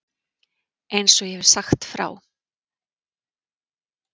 Eins og ég hef sagt frá.